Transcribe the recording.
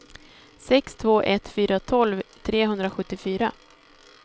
sex två ett fyra tolv trehundrasjuttiofyra